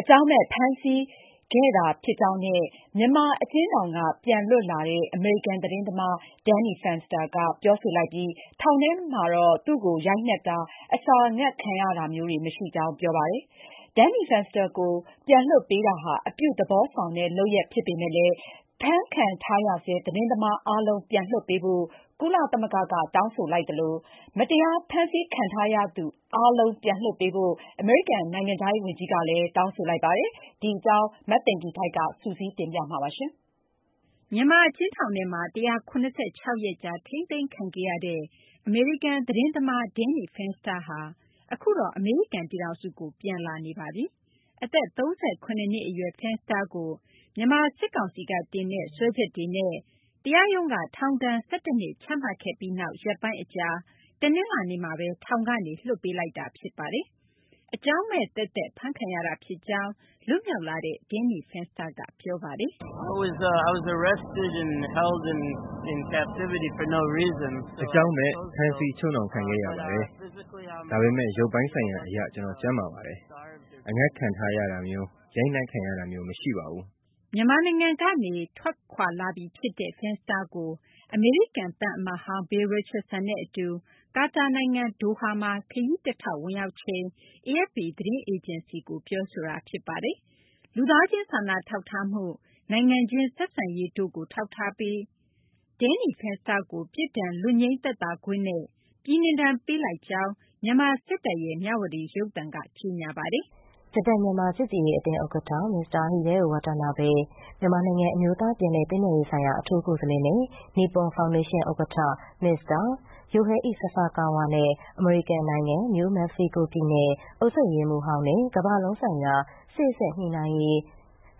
အကြောင်းမဲ့ ဖမ်းဆီးခံခဲ့ရတာ ဖြစ်ကြောင်း မြန်မာ အကျဉ်းထောင်က ပြန်လွတ်လာတဲ့ အမေရိကန် သတင်းသမား Danny Fenster က ပြောဆိုလိုက်ပြီး ထောင်ထဲမှာတော့ သူ့ကို ရိုက်နှက်တာ၊ အစာငတ်ခံရတာမျိုးတွေ မရှိကြောင်း ပြောပါတယ်။ Danny Fenster ကို ပြန်လွှတ်ပေးတာဟာ အပြုသဘောဆောင်တဲ့ လုပ်ရပ် ဖြစ်ပေမယ့်လည်း ဖမ်းခံထားရဆဲ သတင်းသမား အားလုံး ပြန်လွှတ်ပေးဖို့ ကုလသမဂ္ဂက တောင်းဆိုလိုက်သလို မတရား ဖမ်းခံထားရသူ အားလုံး ပြန်လွှတ်ပေးဖို့ အမေရိကန် နိုင်ငံခြားရေး ဝန်ကြီးကလည်း ထပ်မံ တောင်းဆိုလိုက်ပါတယ်။ မသိင်္ဂ ီထိုက် ပြောပြပေးပါမယ်။ မြန်မာ အကျဉ်းထောင်ထဲမှာ ၁၇၆ ရက်ကြာ ထိန်းသိမ်းခံခဲ့ရတဲ့ အမေရိကန် သတင်းထောက် Danny Fenster ဟာ အခုတော့ အမေရိကန် ပြည်ထောင်စုကို ထွက်ခွာလာပါပြီ။ အသက် ၃၇ နှစ် အရွယ် Fenster ကို မြန်မာ စစ်ကောင်စီက တင်တဲ့ စွဲချက်တွေနဲ့ တရားရုံးက ထောင်ဒဏ် ၁၁ နှစ် ချမှတ်ခဲ့ပြီးနောက် ရက်ပိုင်း အကြာ တနလာၤနေ့မှာဘဲ ထောင်ကနေ လွှတ်ပေးလိုက်တာ ဖြစ်ပါတယ်။ အကြောင်းမဲ့ သက်သက် ဖမ်းခံရတာ ဖြစ်ကြောင်း လွတ်မြောက်လာတဲ့ Danny Fenster က ပြောပါတယ်။ " အကြောင်းမဲ့ ဖမ်းဆီး ချုပ်နှောင်ခံခဲ့ရပါတယ်။ ဒါပေမယ့် ရုပ်ပိုင်းဆိုင်ရာ အရ ကျနော် ကျန်းမာပါတယ်။ အငတ်ထားခံရတာမျိုး ရိုက်နှက်ခံရတာမျိုး မရှိပါဘူး။ " မြန်မာနိုင်ငံကနေ အမေရိကန်ကို ထွက်လာနေပြီ ဖြစ်တဲ့ Fenster ကို အမေရိကန် သံအမတ်ဟောင်း Bill Richardson အတူ ကာတာနိုင်ငံ ဒိုဟာမှာ ခရီးတထောက် ဝင်ရောက်ချိန်မှာ AFP သတင်းအေဂျင်စီကို ပြောဆိုခဲ့တာ ဖြစ်ပါတယ်။ လူသားချင်းစာနာထောက်ထားမှု၊ နိုင်ငံချင်း ဆက်ဆံရေးတို့ကို ထောက်ထားပြီး Danny Fenster ကို ပြစ်ဒဏ် လွတ်ငြိမ်းသက်သာခွင့်နဲ့ ပြည်နှင်ဒဏ် ပေးလိုက်ကြောင်း မြန်မာ စစ်တပ်ရဲ့ မြဝတီ ရုပ်သံက ကြေညာသွားပါတယ်။ “ ဂျပန် - မြန်မာ ချစ်ကြည်ရေး အသင်း ဥက္ကဌ မစ္စတာ Hideo Watanabe၊ မြန်မာနိုင်ငံ အမျိုးသား ပြန်လည် သင့်မြတ်ရေး အထူးကိုယ်စားလှယ်နဲ့ နိပွန် ဖောင်ဒေးရှင်း ဥက္ကဌ မစ္စတာ Yohei Sasakawa နဲ့ အမေရိကန် နိုင်ငံ နယူး မက္ကဆီကို ပြည်နယ် အုပ်ချုပ်ရေးမှူးဟောင်းနဲ့ ကမ ္ဘာလုံးဆိုင်ရာ စေ့စပ်ညှိနှိုင်းရေး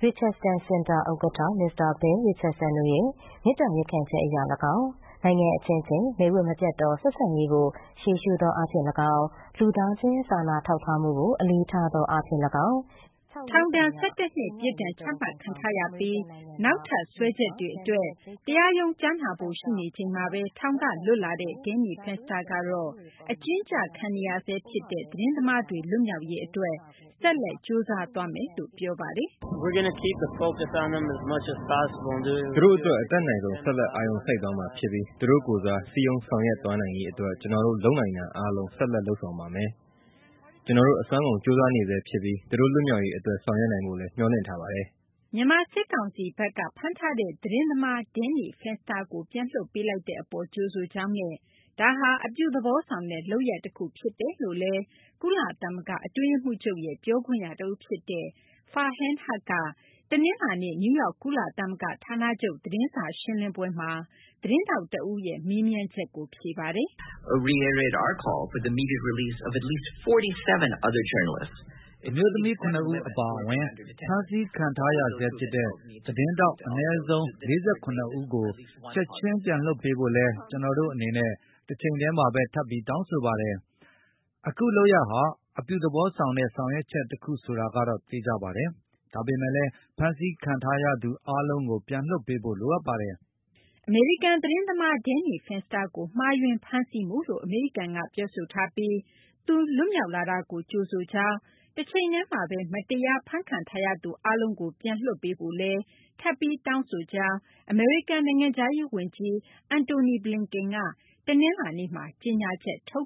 Richardson စင်တာ ဥက္ကဌ မစ္စတာ Bill Richardson တို့ရဲ့ မေတ္တာ ရပ်ခံချက် အရ လည်းကောင်း၊ နိုင်ငံ အချင်းချင်း မိတ်ဝတ် မပျက်သော ဆက်ဆံရေးကို ရှေ့ရှုသော အားဖြင့် လည်းကောင်း၊ လူသားချင်း စာနာမှုကို အလေးထားသော အားဖြင့် လည်းကောင်း …” ထောင်ဒဏ် ၁၁ နှစ် ပြစ်ဒဏ်ချမှတ်ခံထားရပြီး နောက်ထပ် စွဲချက်တွေ အတွက် တရားရုံး ကြားနာဖို့ ရှိနေချိန်မှာဘဲ ထောင်က လွတ်လာတဲ့ Danny Fenster ကတော့ အကျဉ်းကျခံနေရဆဲ ဖြစ်တဲ့ သတင်းသမားတွေ လွတ်မြောက်ရေး အတွက် ဆက်လက် ကြိုးစားသွားမယ်လို့ ပြောပါတယ်။ " သူတို့ အတွက် အတတ်နိုင်ဆုံး ဆက်လက် အာရုံစိုက်သွားမှာ ဖြစ်ပြီး သူတို့ကိုယ်စား စည်းရုံး ဆောင်ရွက်သွားနိုင်ရေး အတွက် ကျနော်တို့ လုပ်နိုင်တာ အားလုံး ဆက်လက် လုပ်ဆောင်ပါမယ်။ ကျနော်တို့ အစွမ်းကုန် ကြိုးစားနေဆဲ ဖြစ်ပြီး သူတို့ လွတ်မြောက်ရေး အတွက် ဆောင်ရွက်နိုင်ဖို့လည်း မျှော်လင့်ထားပါတယ်။ " မြန်မာ စစ်ကောင်စီဘက်က ဖမ်းဆီးထားတဲ့ သတင်းသမား Danny Fenster ကို ပြန်လွှတ်ပေးလိုက်တဲ့ အပေါ် ကြိုဆိုကြောင်းနဲ့ ဒါဟာ အပြုသဘောဆောင်တဲ့ လုပ်ရပ် တခုဖြစ်တယ်လို့လည်း ကုလသမဂ္ဂ အတွင်းရေးမှူးချုပ်ရဲ့ ပြောခွင့်ရ တဦး ဖြစ်သူ Farhan Haq က တနလာၤနေ့ နယူးယောက် ကုလသမဂ္ဂ ဌာနချုပ် သတင်းစာ ရှင်းလင်းပွဲမှာ သတင်းထောက် တဦးရဲ့ မေးမြန်းချက်ကို ဖြေကြားခဲ့ပါတယ်။ " အမျိုးသမီး ၇ ဦး အပါအဝင် ဖမ်းခံထားရဆဲ ဖြစ်တဲ့ သတင်းထောက် အနည်းဆုံး ၄၇ ဦးကို ချက်ချင်း ပြန်လွှတ်ပေးဖို့လည်း ကျနော်တို့ အနေနဲ့ တချိန်တည်းမှာဘဲ ထပ်ပြီး တောင်းဆိုပါတယ်။ အခု လုပ်ရပ်ဟာ အပြုသဘောဆောင်တဲ့ ဆောင်ရွက်ချက် တခု ဆိုတာကတော့ အသေအချာပါ။ ဒါပေမယ့်လည်း ဖမ်းခံထားရသူ အားလုံးကို ပြန်လွှတ်ပေးဖို့ လိုအပ်ပါတယ်။ " အမေရိကန် သတင်းသမား Danny Fenster ကို မှားယွင်း ဖမ်းဆီးမှုလို့ အမေရိကန်က ပြောဆိုထားပြီး သူ လွတ်မြောက်လာတာကို ကြိုဆိုလိုက်ပြီး တချိန်တည်းမှာဘဲ မတရား ဖမ်းဆီးခံထားရသူတွေ အားလုံးကို ပြန်လွှတ်ပေးဖို့လည်း ထပ်ပြီး တောင်းဆိုကြောင်း အမေရိကန် နိုင်ငံခြားရေး ဝန်ကြီး Antony Blinken က တနလာၤနေ့မှာ ကြေညာချက် ထုတ်